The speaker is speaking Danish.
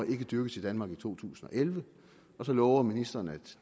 ikke dyrkes i danmark i to tusind og elleve og så lover ministeren at